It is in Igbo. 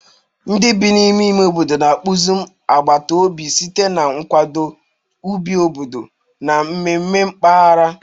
Ndị bi n'ime ime obodo na-akpụzi agbata obi site na nkwado, ubi obodo, na mmemme mpaghara.